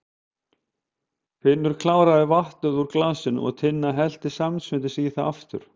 Finnur kláraði vatnið úr glasinu og Tinna hellti samstundis í það aftur.